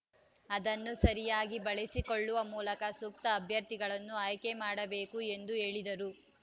ಅದನ್ನು ಸರಿಯಾಗಿ ಬಳಸಿಕೊಳ್ಳುವ ಮೂಲಕ ಸೂಕ್ತ ಅಭ್ಯರ್ಥಿಗಳನ್ನು ಆಯ್ಕೆ ಮಾಡಬೇಕು ಎಂದು ಹೇಳಿದರು